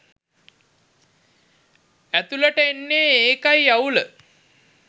ඇතුලට එන්නේ ඒකයි අවුල.